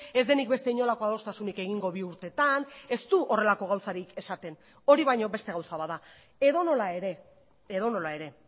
ez denik beste inolako adostasunik egingo bi urtetan ez du horrelako gauzarik esaten hori baino beste gauza bat da edonola ere edonola ere